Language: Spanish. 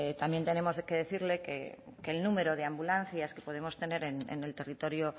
también tenemos que decirle que el número de ambulancias que podemos tener en el territorio